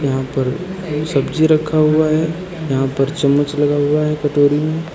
यहां पर सब्जी रखा हुआ है यहां पर चम्मच लगा हुआ है कटोरी में।